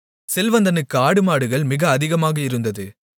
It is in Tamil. செல்வந்தனுக்கு ஆடுமாடுகள் மிக அதிகமாக இருந்தது